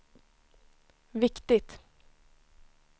viktigt